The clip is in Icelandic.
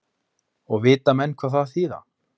Og vita menn hvað það þýða?